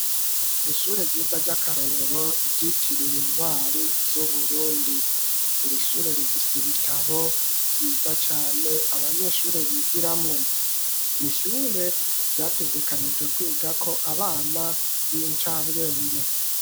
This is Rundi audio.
Ishure ryiza ry'akarorero ryitiriwe Intwari z'Uburundi. Iri shure rifise ibitabo vyiza cane abanyeshure bigiramwo. Ishure ryategekanijwe kwigako abana b'incabwenge.